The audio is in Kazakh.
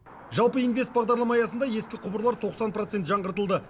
жалпы инвест бағдарлама аясында ескі құбырлар тоқсан процент жаңғыртылды